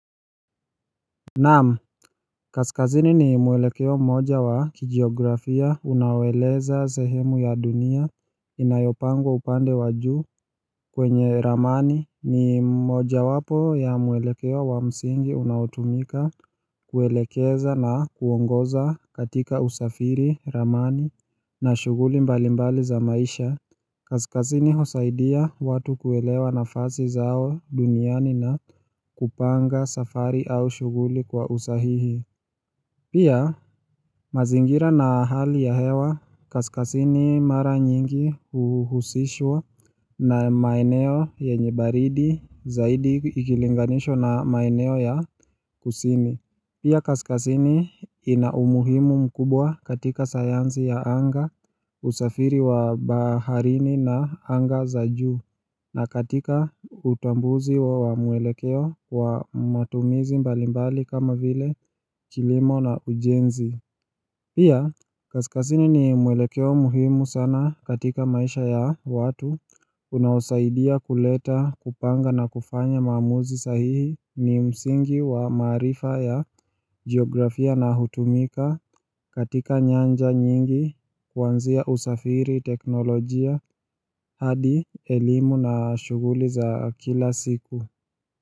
Na'am, kaskazini ni mwelekeo mmoja wa kijiografia unawoeleza sehemu ya dunia inayopangwa upande wa juu kwenye ramani. Ni mojawapo ya mwelekeo wa msingi unaotumika kuelekeza na kuongoza katika usafiri ramani. Na shuguli mbalimbali za maisha. Kaskazini husaidia watu kuelewa nafasi zao duniani na kupanga safari au shughuli kwa usahihi Pia mazingira na hali ya hewa kaskazini mara nyingi huhusishwa na maeneo yanye baridi zaidi ikilinganishwa na maeneo ya kusini. Pia kaskazini ina umuhimu mkubwa katika sayansi ya anga. Usafiri wa baharini na anga za juu na katika utambuzi wa mwelekeo wa matumizi mbalimbali kama vile kilimo na ujenzi Pia, kaskazini ni mwelekeo muhimu sana katika maisha ya watu, unaosaidia kuleta kupanga na kufanya maamuzi sahihi ni msingi wa maarifa ya geografia na hutumika katika nyanja nyingi kuanzia usafiri, teknolojia hadi elimu na shughuli za kila siku.